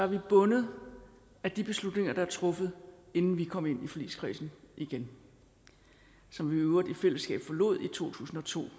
vi bundet af de beslutninger der er truffet inden vi kom ind i forligskredsen igen som vi i øvrigt i fællesskab forlod i to tusind og to det